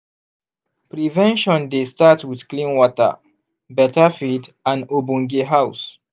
prevention dey start with clean water beta feed and obonge house.